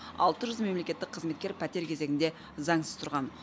алты жүз мемлекеттік қызметкер пәтер кезегінде заңсыз тұрған